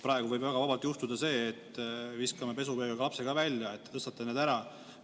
Praegu võib väga vabalt juhtuda nii, et viskame lapse ka koos pesuveega välja, sest te tõstate need ära.